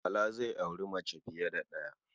Bala zai auri mace fiye da ɗaya.